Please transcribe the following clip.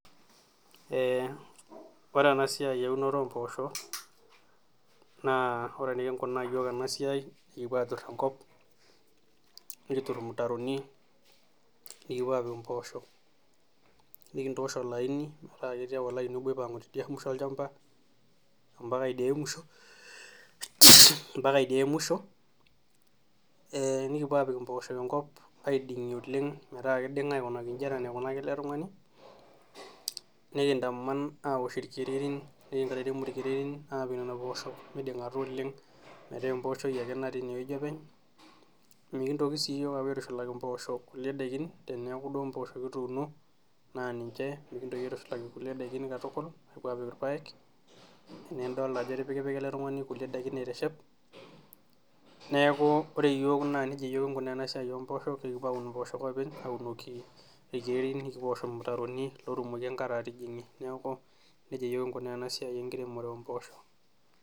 ore ena siai eunore ompoosho naa ore enikinkunaa yiok ena siai, ekipuo aatur enkop ,nikitur irmutaroni nikipuo apik mpoosho ,nikintosha olaini metaa ketii ake oleini aipanga tidialo musho olchampa mpaka idia ae musho ,nikipuo apik mpoosho enkop aidingie oleng metaa keidinga aikunaki inji enaa enaikunaka ele tungani ,nikintaman aapik irkererin midingata metaa poosho ake natii ineweji openy, mikintoki siiyiok apuo aitushalaki mpoosho kulie daikin teneeku duo mpoosho kituuno naa ninche mikintoki aitushulaki kulie daiki katukulmikipuo apik irpaek ,naa idol ajo etipika ele tungani nkulien daikin aiteshep, neeku ore yiok nejia kipuo aikunaa ena siai oposho ekipuo aun mpoosho openy aunoki irkererin nikiwash irmutaroni pee tumoki enkare atijingie ,neeku nejia yiok kinkunaa ena siai oposho.